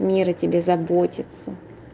мир о тебе заботиться